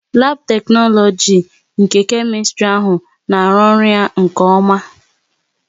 Labu teknologisi nke Kemistri na arụ ọrụ ya nke oma